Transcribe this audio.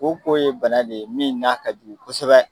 Koko ye bana de ye min n'a ka jugu kosɛbɛ.